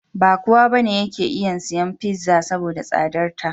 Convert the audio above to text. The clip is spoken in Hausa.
Ba kowa ba ne yake isan siyan fiza (pizza), saboda da tsadarta.